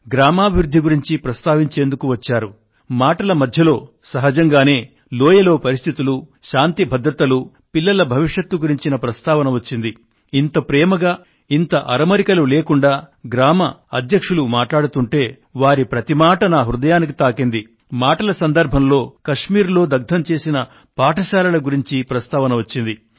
గ్రామాభివృద్ధి గురించి ప్రస్తావన కూడా వచ్చింది